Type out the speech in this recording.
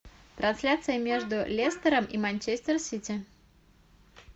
трансляция между лестером и манчестер сити